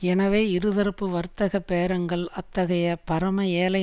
எனவே இரு தரப்பு வர்த்தக பேரங்கள் அத்தகைய பரம ஏழை